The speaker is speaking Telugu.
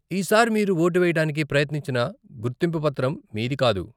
ఈ సారి మీరు ఓటు వేయడానికి ప్రయత్నించిన గుర్తింపు పత్రం మీది కాదు.